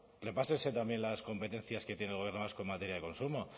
repásese también las competencias que tiene el gobierno vasco en materia de consumo